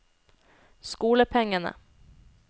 skolepengene